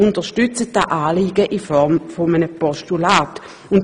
Wir unterstützen dieses Anliegen deshalb in Form eines Postulats.